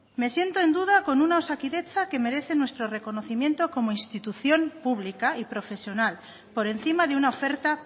me siento en duda con una osakidetza que merece nuestro conocimiento como institución pública y profesional por encima de una oferta